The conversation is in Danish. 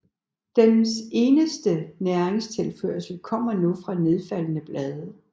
Den eneste næringstilførsel kommer nu fra nedfaldne blade